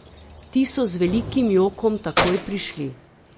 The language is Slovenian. Ti so z velikim jokom takoj prišli.